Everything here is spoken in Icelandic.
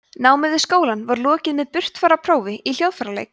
námi við skólann er lokið með burtfararprófi í hljóðfæraleik